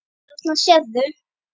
Þarna sérðu.